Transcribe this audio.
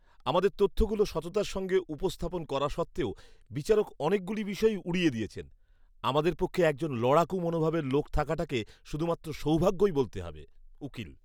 আমাদের তথ্যগুলো সততার সঙ্গে উপস্থাপন করা সত্ত্বেও বিচারক অনেকগুলো বিষয়ই উড়িয়ে দিয়েছেন। আমাদের পক্ষে একজন লড়াকু মনোভাবের লোক থাকাটাকে শুধুমাত্র সৌভাগ্যই বলতে হবে। উকিল